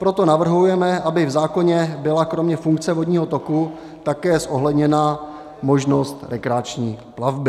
Proto navrhujeme, aby v zákoně byla kromě funkce vodního toku také zohledněna možnost rekreační plavby.